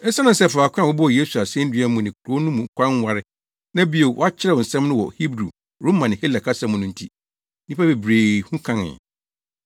Esiane sɛ faako a wɔbɔɔ Yesu asennua mu ne kurow no mu kwan nware, na bio wɔakyerɛw nsɛm no wɔ Hebri, Roma ne Hela kasa mu no nti, nnipa bebree hu kenkanee.